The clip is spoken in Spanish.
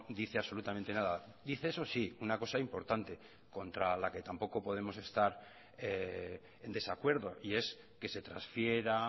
dice absolutamente nada dice eso sí una cosa importante contra la que tampoco podemos estar en desacuerdo y es que se transfiera